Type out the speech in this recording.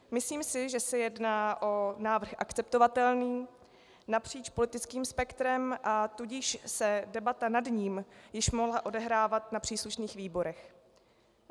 Myslím si, že se jedná o návrh akceptovatelný napříč politickým spektrem, a tudíž se debata nad ním již mohla odehrávat na příslušných výborech.